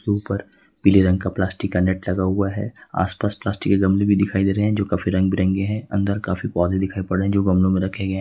ऊपर पीले रंग का प्लास्टिक का नेट भी लगा हुआ है आसपास प्लास्टिक के गमले भी दिखाई दे रहे हैं जो रंग बिरंगे हैं अंदर काफी पौधे दिखाई पड़ रहे हैं जो गमले में रखे गए--